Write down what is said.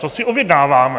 Co si objednáváme?